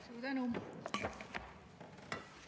Suur tänu!